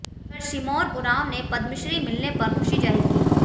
उधर सिमोन उरांव ने पद्मश्री मिलने में पर खुशी जाहिर की